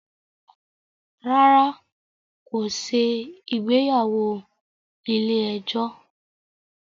Rárá, kò ṣe ìgbéyàwó ilé ẹjọ́